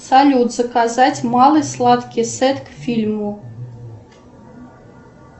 салют заказать малый сладкий сет к фильму